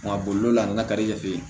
Nka bolila na ka di e fɛ yen